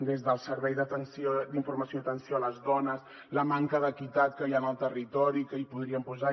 des del servei d’informació i atenció a les dones la manca d’equitat que hi ha en el territori que hi podríem posar